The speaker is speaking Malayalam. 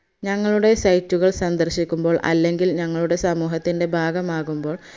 ഞങ്ങളുടെ site കൾ സന്ദർശിക്കുമ്പോൾ അല്ലെങ്കിൽ ഞങ്ങളുടെ സമൂഹത്തിന്റെ ഭാഗമാകുമ്പോൾ